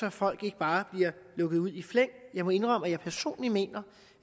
at folk ikke bare bliver lukket ud i flæng jeg må indrømme at jeg personligt mener